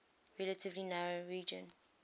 relatively narrow region